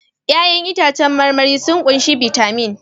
Ya'yan itãcen marmari sun ƙunshi bitamin